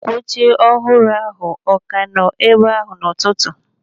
Akwa oche ọhụrụ ọ ka nọ ebe ahụ n'ụtụtụ?